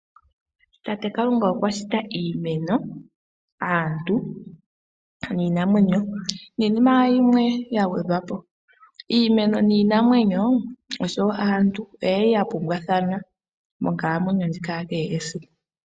Tate Kalunga okwa shita iimeno, aantu niinamwenyo niinima yimwe ya gwedhwa po. Iimeno niinamwenyo oshowo aantu oye li ya pumbwathana monkalamwenyo ndjika ya kehe esiku.